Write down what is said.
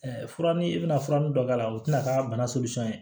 fura ni i bɛna fura min dɔ k'a la o tɛna k'a bana